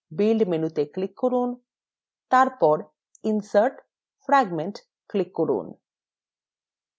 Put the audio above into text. build মেনুতে click করুন এবং তারপর insert> fragment click করুন